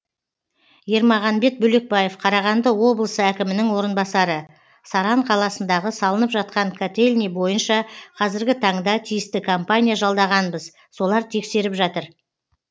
ермағанбет бөлекбаев қарағанды облысы әкімінің орынбасары саран қаласындағы салынып жатқан котельний бойынша қазіргі таңда тиісті компания жалдағанбыз солар тексеріп жатыр